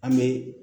An bɛ